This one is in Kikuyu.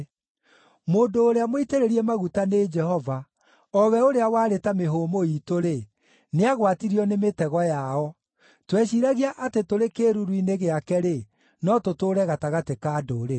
Mũndũ ũrĩa mũitĩrĩrie maguta nĩ Jehova, o we ũrĩa warĩ ta mĩhũmũ iitũ-rĩ, nĩagwatirio nĩ mĩtego yao. Tweciiragia atĩ tũrĩ kĩĩruru-inĩ gĩake-rĩ, no tũtũũre gatagatĩ ka ndũrĩrĩ.